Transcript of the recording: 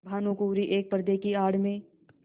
भानुकुँवरि एक पर्दे की आड़ में